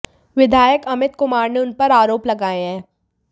विधायक अमित कुमार ने उन पर आरोप लगाये हैं